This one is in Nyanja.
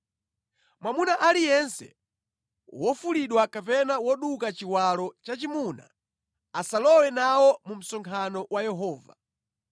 Mwamuna aliyense wofulidwa kapena woduka chiwalo chachimuna asalowe nawo mu msonkhano wa Yehova.